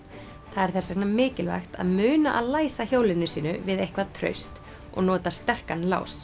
það er þess vegna mikilvægt að muna að læsa hjólinu sínu við eitthvað traust og nota sterkan lás